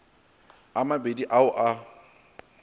a mabedi a o a